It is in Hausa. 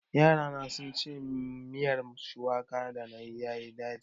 Yarana sun ce miyar shuwakar danayi yayi ɗaci.